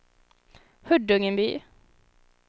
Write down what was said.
Huddungeby